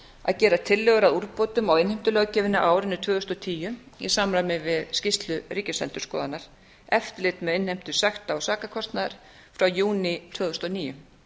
að gera tillögur að úrbótum á innheimtulöggjöfinni á árinu tvö þúsund og tíu í samræmi við skýrslu ríkisendurskoðunar eftirlit með innheimtu sekta og sakarkostnaðar frá júní tvö þúsund og níu